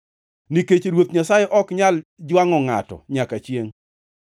nikech Ruoth Nyasaye ok nyal jwangʼo ngʼato nyaka chiengʼ.